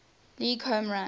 league home run